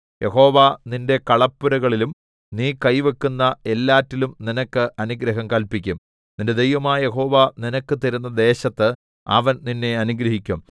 യഹോവ നിന്റെ കളപ്പുരകളിലും നീ കൈവയ്ക്കുന്ന എല്ലാറ്റിലും നിനക്ക് അനുഗ്രഹം കല്പിക്കും നിന്റെ ദൈവമായ യഹോവ നിനക്ക് തരുന്ന ദേശത്ത് അവൻ നിന്നെ അനുഗ്രഹിക്കും